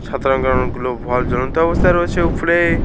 সাতরঙ্গা অনেকগুলো ভাল্ব জ্বলন্ত অবস্থায় রয়েছে উপরে।